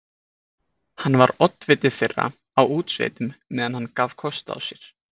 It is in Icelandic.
Hann var oddviti þeirra á útsveitum meðan hann gaf kost á sér.